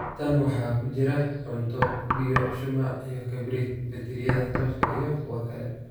Tan waxa ku jira: cunto, biyo, shumac iyo kabriid, baytariyada tooshka iyo kuwa kale."